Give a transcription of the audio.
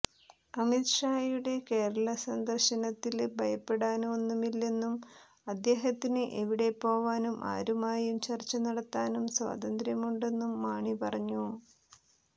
അമിത് ഷായുടെ കേരള സന്ദര്ശനത്തില് ഭയപ്പെടാന് ഒന്നുമില്ലെന്നും അദ്ദേഹത്തിന് എവിടെ പോവാനും ആരുമായും ചര്ച്ച നടത്താനും സ്വാതന്ത്രമുണ്ടെന്നും മാണി പറഞ്ഞു